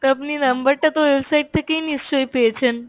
আপনি number তা তো website থেকেই নিশ্চই পেয়েছেন